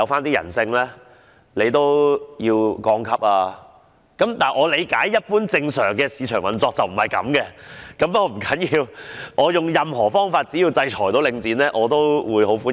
不過，據我理解，一般正常的市場運作並非如此，但這並不重要，要點是我會用任何方法，只要能制裁領展的，我都會歡迎。